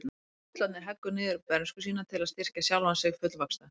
Sá fullorðni heggur niður bernsku sína til að styrkja sjálfan sig fullvaxta.